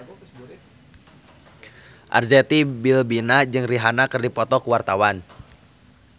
Arzetti Bilbina jeung Rihanna keur dipoto ku wartawan